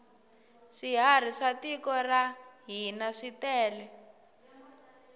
swiharhi swa tiko ra hina switele